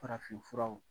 Farafinfuraw